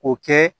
K'o kɛ